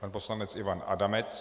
Pan poslanec Ivan Adamec.